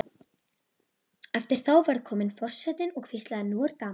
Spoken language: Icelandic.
Eftir þá ferð kom forsetinn og hvíslaði: Nú er gaman